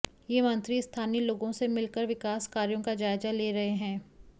ये मंत्री स्थानीय लोगों से मिल कर विकास कार्यों का जायजा लें रहे हैं